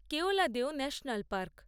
Keoladeo national park